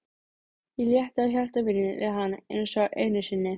Ég létti á hjarta mínu við hann einsog einu sinni.